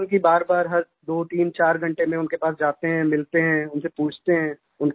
हम तो इसीलिये बारबार दोतीनचार घंटे में उनके पास जाते हैं मिलते हैं उनसे पूछते हैं